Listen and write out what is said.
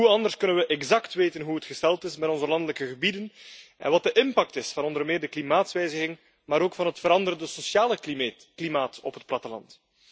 Hoe anders kunnen we exact weten hoe het gesteld is met onze landelijke gebieden en wat de impact is van onder meer de klimaatsverandering maar ook van het veranderde sociale klimaat op het platteland?